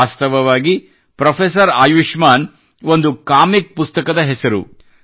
ವಾಸ್ತವವಾಗಿ ಪೆÇ್ರಫೆಸರ್ ಆಯುಷ್ಮಾನ್ ಒಂದು ಕಾಮಿಕ್ಸ್ ಪುಸ್ತಕದ ಹೆಸರು